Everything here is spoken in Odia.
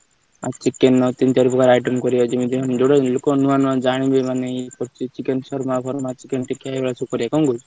ଆମେ ଚିକେନ ର ତିନ ଚାରିପ୍ରକାର item କରିବ ଯେମିତି ଯଉତ ଲୋକ ମାନେ ନୂଆ ନୂଆ ଜାଣିବେ ମାନେ ଏ ଚିକେନ ଶୁର୍ମା ଫୁରମା ଚିକେନ ଟିକ୍କା ଏଇଭଳିଆ ସବୁ କରିଆ କହୁଛୁ।